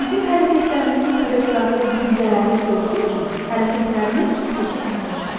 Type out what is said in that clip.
Bizim hərəkətlərimizin səbəbkarı düşüncələrimiz olduğu üçün hərəkətlərimiz xüsusi əhəmiyyət daşıyır.